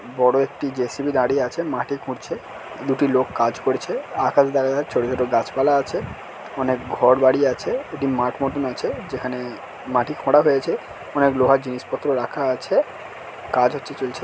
বড়ো একটি জে.সি.বি. দাঁড়িয়ে আছে মাটি খুঁড়ছে দুটি লোক কাজ করছে আকাশ দেখা যা ছোটো ছোটো গাছ পালা আছে অনেক ঘর বাড়ি আছে একটি মাঠ মতোন আছে যেখানে মাটি খোঁড়া হয়েছে অনেক লোহার জিনিসপত্র রাখা আছে কাজ হচ্ছে চলছে।